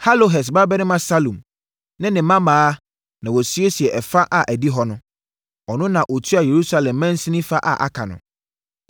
Halohes babarima Salum ne ne mmammaa na wɔsiesiee ɛfa a ɛdi hɔ no. Ɔno na na ɔtua Yerusalem mansini fa a aka ano.